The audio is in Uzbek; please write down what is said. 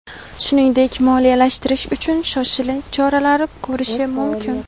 shuningdek moliyalashtirish uchun "shoshilinch choralar" ko‘rishi mumkin.